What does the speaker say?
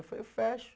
Eu falei, eu fecho.